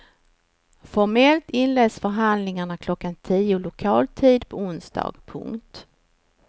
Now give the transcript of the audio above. Formellt inleds förhandlingarna klockan tio lokal tid på onsdagen. punkt